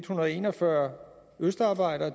hundrede og en og fyrre østarbejdere